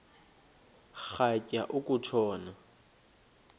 rhatya uku tshona